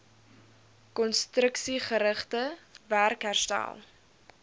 konstruksiegerigte werk herstel